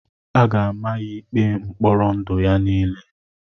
A ga-ama ya ya ikpe mkpọrọ ndụ ya niile.